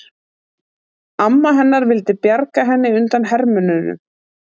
Amma hennar vildi bjarga henni undan hermönnunum.